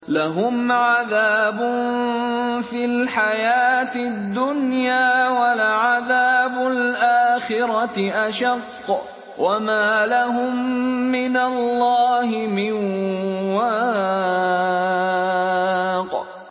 لَّهُمْ عَذَابٌ فِي الْحَيَاةِ الدُّنْيَا ۖ وَلَعَذَابُ الْآخِرَةِ أَشَقُّ ۖ وَمَا لَهُم مِّنَ اللَّهِ مِن وَاقٍ